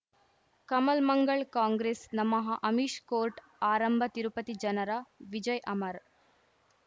ಕಮಲ್ ಮಂಗಳ್ ಕಾಂಗ್ರೆಸ್ ನಮಃ ಅಮಿಷ್ ಕೋರ್ಟ್ ಆರಂಭ ತಿರುಪತಿ ಜನರ ವಿಜಯ್ ಅಮರ್